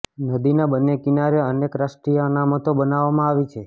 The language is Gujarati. નદીના બન્ને કિનારે અનેક રાષ્ટ્રીય અનામતો બનાવવામાં આવી છે